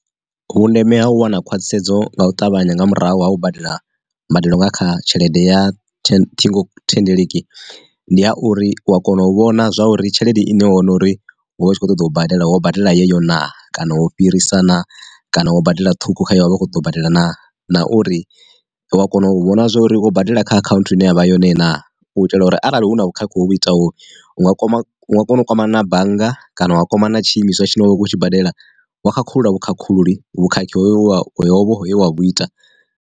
Vhundeme ha u wana khwathisedzo nga u ṱavhanya nga murahu ha u badela mbadelo nga kha tshelede ya ṱhingo thendeleki, ndi ya uri wa kona u vhona zwa uri tshelede ine hone uri huvha hu tshi khou ṱoḓa u badela wo badela yeyo na kana wo u fhirisa na kana wo badela ṱhukhu kha uri vha kho ḓo badela naa, na uri, uwa kona u vhona zwori wo badela kha akhanthu ine yavha yone na u itela uri arali hu na vhukhakhi hovhu itaho u nga kwama nga kona u kwamana na bannga, kana u nga kwamana na tshi imiswa tshine wa vha u khou tshi badela wa khakhulula vhukhakhululi vhukhakhi hoyo hovho hoyo we wa vhu ita.